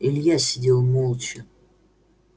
илья сидел молча